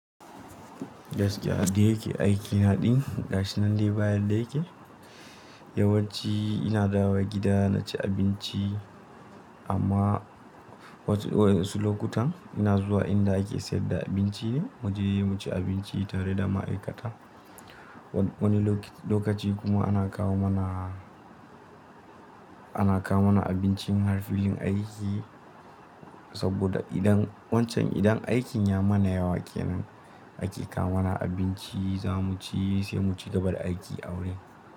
Gaskiya dai yake, aikina din gashi nan dai ba yadda yake. Yawanci ina dawo gida na ci abinci amma. Wasu lokutan ina zuwa inda ake sayar da abinci ne muje mu ci abinci tare da ma'aikata. Wani lokaci kuma ana kawo mana, ana kawo mana abincin har filin aiki saboda idan wancan idan aikin ya mana yawa kenan ake kawo mana abinci za mu ci sai mu cigaba da aiki a wurin.